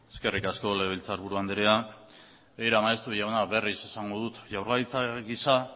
eskerrik asko legebiltzarburu andrea begira maeztu jauna berriz esango dut jaurlaritza gisa